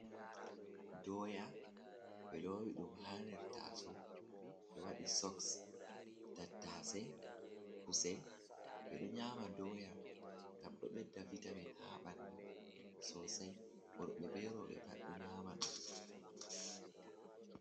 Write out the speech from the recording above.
Doya be lowi ɗum ha nder taso, ɓe waɗi soks, tattace, kusel, ɓe ɗo nyama doya ngam ɗo ɓedda vitamin ha ɓandu sosai, worɓe be rowɓe pat ɗo nyama ɗum